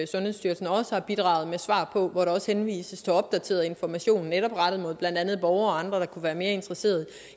sundhedsstyrelsen også har bidraget med svar på hvor der også henvises til opdateret information netop rettet mod blandt andet borgere og andre der kunne være interesseret